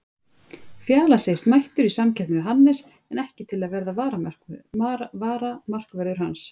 Fjalar segist mættur í samkeppni við Hannes en ekki til að verða varamarkvörður hans.